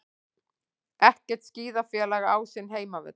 Ekkert skíðafélag á sinn heimavöll